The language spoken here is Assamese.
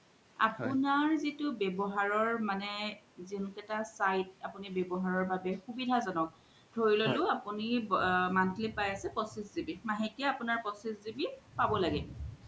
আপুনাৰ মানে ৱ্যবহাৰৰ জুন্কেইতা site আপুনি ৱ্যাবহাৰৰ বাবে সুবিধা জনক ধৰি ললু আপুনি monthly পাই আছে পঁচিছ GB মাহেকিয়া আপুনাৰ পঁচিছ GB পাব লাগে